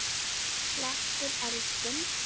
Slekkur eldinn.